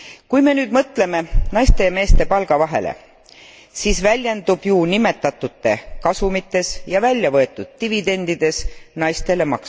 Kui me nüüd mõtleme naiste ja meeste palgavahele, siis väljendub ju nimetatute kasumites ja väljavõetud dividendides naistele